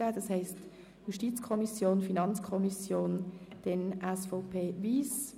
Das heisst also JuKo, FiKo und dann SVP/Wyss.